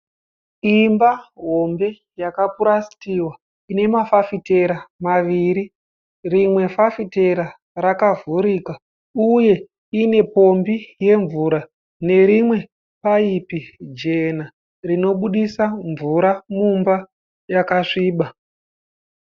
Imba hombe yakapurasitiwa ine mafitera maviri. Rimwe fafitera rakavhurika uye ine pombi yemvura nerimwe paipi jena rinobuditsa mvura mumba yakasviba.